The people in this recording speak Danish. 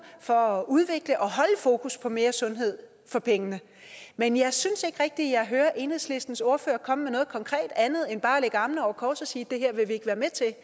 for at udvikle og holde fokus på mere sundhed for pengene men jeg synes ikke rigtig jeg hører enhedslistens ordfører komme med noget konkret andet end bare at lægge armene over kors og sige at det her vil de ikke være med til